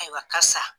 Ayiwa karisa